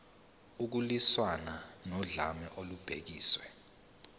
ukulwiswana nodlame olubhekiswe